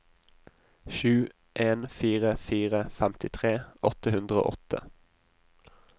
sju en fire fire femtitre åtte hundre og åtte